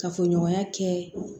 Kafoɲɔgɔnya kɛ